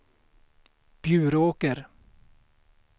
Bjuråker